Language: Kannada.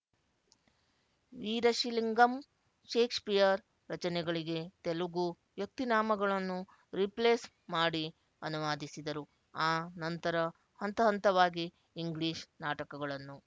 ವೀರೇಶಲಿಂಗಂ ಶೇಕ್ಸ್‌ಪಿಯರ್ ರಚನೆಗಳಿಗೆ ತೆಲುಗು ವ್ಯಕ್ತಿನಾಮಗಳನ್ನು ರಿಪ್ಲೇಸ್ ಮಾಡಿ ಅನುವಾದಿಸಿದರು ಆ ನಂತರ ಹಂತಹಂತವಾಗಿ ಇಂಗ್ಲಿಶ್ ನಾಟಕಗಳನ್ನು